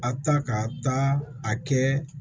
A ta ka taa a kɛ